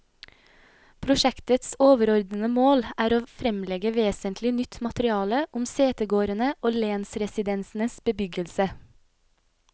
Prosjektets overordede mål er å fremlegge vesentlig nytt materiale om setegårdene og lensresidensenes bebyggelse.